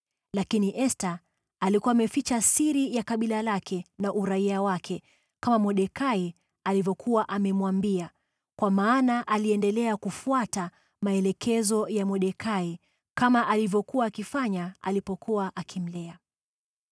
Lakini Esta alikuwa ameficha siri ya kabila lake na uraia wake, kama Mordekai alivyokuwa amemwambia, kwa maana aliendelea kufuata maelekezo ya Mordekai kama alivyokuwa akifanya alipokuwa akimlea.